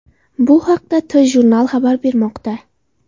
Bu haqda TJournal xabar bermoqda .